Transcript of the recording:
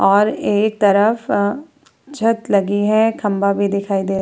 और एक तरफ अ छत लगी है खंभा भी दिखाई दे --